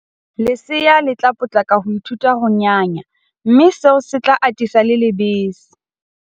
Lesea le tla potlaka ho ithuta ho nyanya mme seo se tla atisa le lebese.